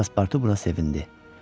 Passportu buna sevindi.